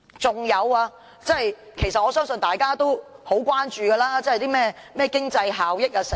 此外，我相信大家其實也很關注經濟效益等事宜。